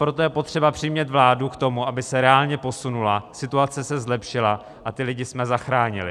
Proto je potřeba přimět vládu k tomu, aby se reálně posunula, situace se zlepšila a ty lidi jsme zachránili.